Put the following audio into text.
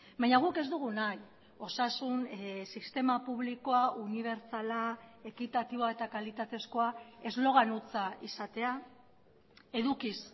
baina guk ez dugu nahi osasun sistema publikoa unibertsala ekitatiboa eta kalitatezkoa eslogan hutsa izatea edukiz